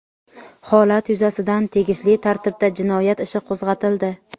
Holat yuzasidan tegishli tartibda jinoyat ishi qo‘zg‘atildi.